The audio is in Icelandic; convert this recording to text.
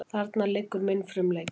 Þarna liggur minn frumleiki.